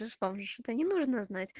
да не нужно